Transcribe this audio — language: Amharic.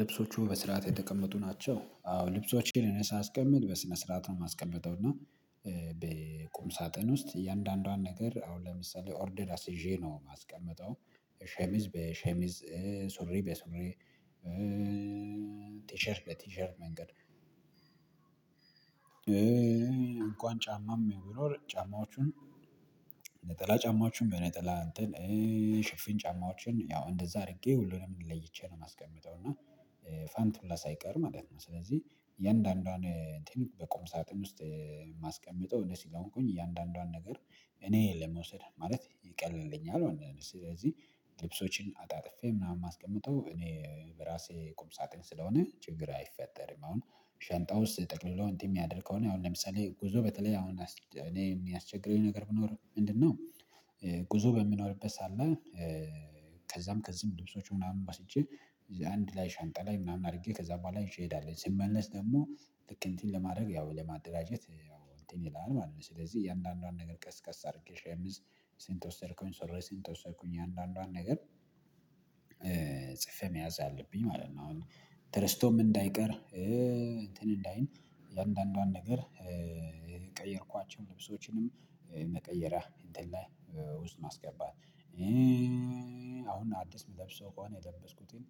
ልብሶቹ በስርዓት የተቀመጡ ናቸው? አዎ ልብሶቼን እነ ሳስቀምጥ በስነ ስርዓት ነው። ማስቀምጠው እና በቁም ሳጥን ውስጥ እያንዳንዷን ነገር አሁን ለምሳሌ ኦርደር አስይዤ ነው ማስቀምጠው ሸሚዝ በሸሚዝ ሱሪ በሱሪ ትሸርት በትሸርት መንገድ እንኳን ጫማም ብሚኖር ጫማዎቹን ነጠላ ጫማዎቹን በነጠላ እንትን ሽፍኝ ጫማዎችን ያው እንደዛ አድርጌ ሁሉንም ለይቼ ነው ማስቀምጠው። እና ፋንት ሁላ ሳይቀር ማለት ነው። ስለዚህ የእያንዳንዷን ቴክኒክ በቁም ሳጥን ውስጥ ማስቀምጠው እነ ስለ ሆንኩኝ እያንዳንዷን ነገር እኔ ለመውሰድ ማለት ይቀለልኛል። ወይ ስለዚህ ልብሶችን አጣጥፌ ምናምን የማስቀምጠው እኔ በራሴ ቁም ሳጥን ስለሆነ ችግር አይፈጠርም። አሁን ሸንጣውስ ጠቅልሎ እንትን ሚያደርገውን አሁን ለምሳሌ ጉዞ በተለይ አሁን እኔ ሚያስቸግረኝ ነገር ብኖር ምንድነው? ጉዞ በሚኖርበት ሰዓት ላይ ከዛም ከዚህም ልብሶች ምናምን ወስጄ አንድ ላይ ሻንጣ ላይ ምናምን አድርጌ ከዛ በኋላ ይዠ እንሄዳለ ስንመነስ ደግሞ ልክ እንትን ለማድረግ ያው ለማደራጀት እንትን ይላል ማለት ነው። ስለዚህ እያንዳንዷን ነገር ቀስ ቀስ አድርጌ ሸምዝ ሴንት ወሰድከኝ ስለ ሴንት ወሰድኩኝ አንዳንዷን ነገር ጽፌ መያዝ አለብኝ ማለት ነው። አሁን ተረስቶም እንዳይቀር እንትን እእንዳይል የእያንዳንዷን ነገር። ልብሶችንም መቀየሪያ እንትን ላይ ውስጥ ማስገባት አሁን አዲስ ምለብሰው ከሆነ የለበስኩትን